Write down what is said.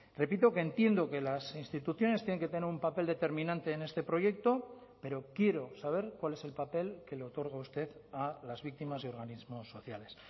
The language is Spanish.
repito que entiendo que las instituciones tienen que tener un papel determinante en este proyecto pero quiero saber cuál es el papel que le otorga usted a las víctimas y organismos sociales